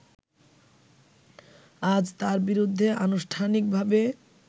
আজ তার বিরুদ্ধে আনুষ্ঠানিকভাবে